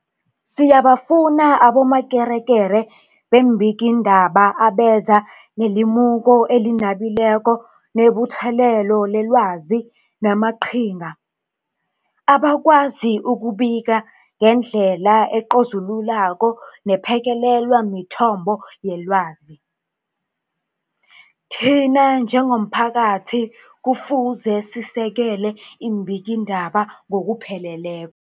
Siyabafuna abomakekere beembikiindaba abeza nelimuko elinabileko nebuthelelo lelwazi namaqhinga, abakwazi ukubika ngendlela ecozululako nephekelelwa mithombo yelwazi. Thina njengomphakathi kufuze sisekele iimbikiindaba ngokupheleleko.